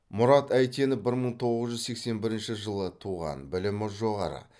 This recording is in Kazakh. мурат әйтенов бір мың тоғыз жүз сексен бірінші жылы туған білімі жоғары